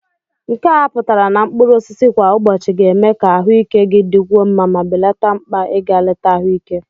nke a pụtara na mkpụrụ osisi kwa ụbọchị ga-eme ka ahụike gị dịkwuo mma ma belata mkpa ịga leta ahụike